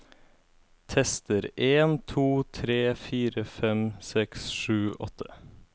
Tester en to tre fire fem seks sju åtte